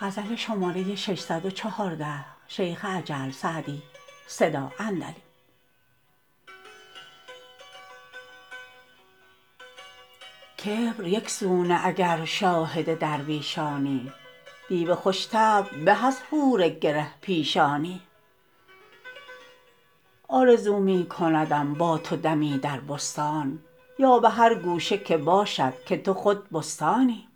کبر یک سو نه اگر شاهد درویشانی دیو خوش طبع به از حور گره پیشانی آرزو می کندم با تو دمی در بستان یا به هر گوشه که باشد که تو خود بستانی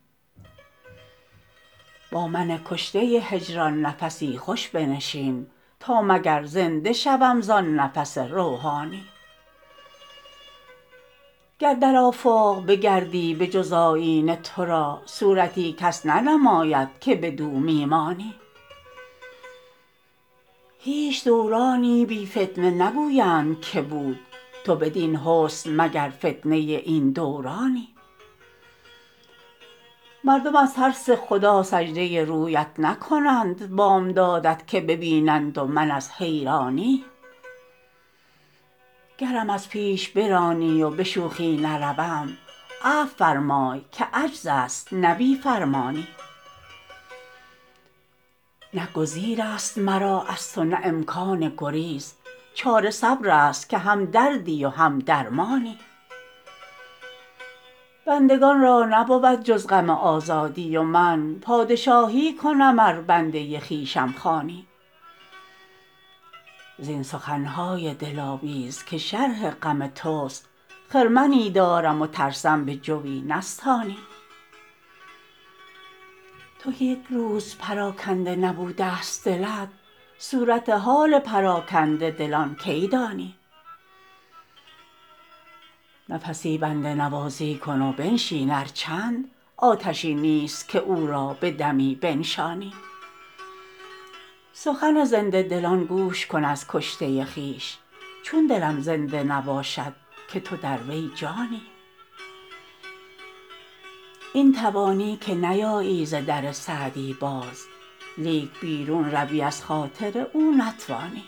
با من کشته هجران نفسی خوش بنشین تا مگر زنده شوم زآن نفس روحانی گر در آفاق بگردی به جز آیینه تو را صورتی کس ننماید که بدو می مانی هیچ دورانی بی فتنه نگویند که بود تو بدین حسن مگر فتنه این دورانی مردم از ترس خدا سجده رویت نکنند بامدادت که ببینند و من از حیرانی گرم از پیش برانی و به شوخی نروم عفو فرمای که عجز است نه بی فرمانی نه گزیر است مرا از تو نه امکان گریز چاره صبر است که هم دردی و هم درمانی بندگان را نبود جز غم آزادی و من پادشاهی کنم ار بنده خویشم خوانی زین سخن های دلاویز که شرح غم توست خرمنی دارم و ترسم به جوی نستانی تو که یک روز پراکنده نبوده ست دلت صورت حال پراکنده دلان کی دانی نفسی بنده نوازی کن و بنشین ار چند آتشی نیست که او را به دمی بنشانی سخن زنده دلان گوش کن از کشته خویش چون دلم زنده نباشد که تو در وی جانی این توانی که نیایی ز در سعدی باز لیک بیرون روی از خاطر او نتوانی